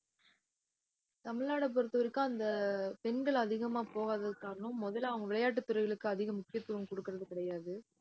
தமிழ்நாடை பொறுத்தவரைக்கும் அந்த பெண்கள் அதிகமா போகாததுக்கு காரணம் முதல்ல அவங்க விளையாட்டுத் துறைகளுக்கு அதிக முக்கியத்துவம் கொடுக்கிறது கிடையாது